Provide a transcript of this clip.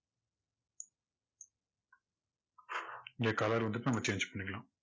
இங்க colour வந்துட்டு நம்ம change பண்ணிக்கலாம்.